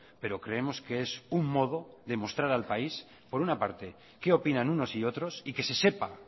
pero creemos que es un modo de mostrar al país por una parte qué opinan unos y otros y que se sepa